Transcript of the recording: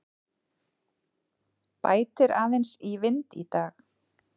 Bætir aðeins í vind í dag